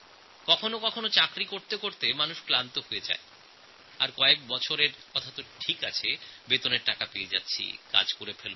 কখনও কখনও কাজ করতে করতে মানুষ ক্লান্ত হয়ে পড়ে আর কিছু বছর বাদে মনে করে ঠিক আছে মাইনে তো পাচ্ছি কাজ পরে করে নেব